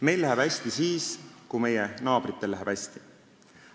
Meil läheb hästi siis, kui meie naabritel läheb hästi.